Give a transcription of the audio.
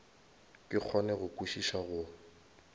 ke kgone go kwešiša go